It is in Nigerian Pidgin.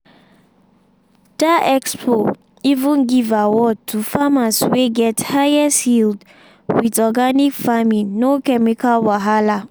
that expo even give award to farmers wey get highest yield with organic farming no chemical wahala.